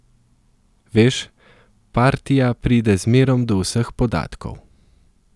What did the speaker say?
Veš, partija pride zmerom do vseh podatkov.